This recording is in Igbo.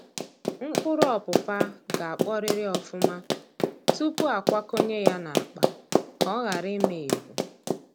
Mkpụrụ ọpụpa ga-akpọrịrị ọfụma tupuu a kwakọnye ya n'akpa, ka ọ ghara ị ma evu.